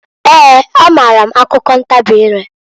Eeǃ A maara m akụkọ ntabị ireǃ